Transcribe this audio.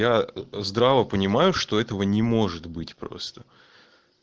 я здраво понимаю что этого не может быть просто